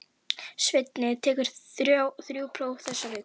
Svenni tekur þrjú próf þessa viku.